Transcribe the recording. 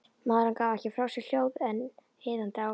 Maðurinn gaf ekki frá sér hljóð en iðaði áfram.